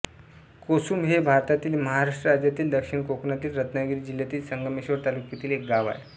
कोसुंब हे भारतातील महाराष्ट्र राज्यातील दक्षिण कोकणातील रत्नागिरी जिल्ह्यातील संगमेश्वर तालुक्यातील एक गाव आहे